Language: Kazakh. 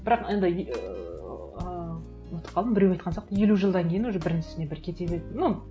бірақ енді ыыы ұмытып қалдым біреу айтқан сияқты елу жылдан кейін уже бірінің үстіне бірі кете береді ну